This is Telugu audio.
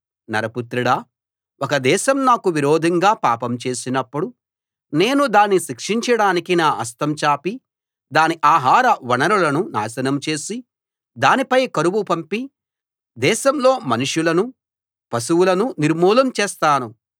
నరపుత్రుడా ఒక దేశం నాకు విరోధంగా పాపం చేసినప్పుడు నేను దాన్ని శిక్షించడానికి నా హస్తం చాపి దాని ఆహార వనరులను నాశనం చేసి దానిపై కరువు పంపి దేశంలో మనుషులనూ పశువులనూ నిర్మూలం చేస్తాను